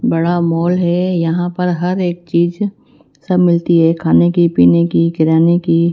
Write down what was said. बड़ा मॉल है यहां पर हर एक चीज सब मिलती है खाने की पीने की किराने की।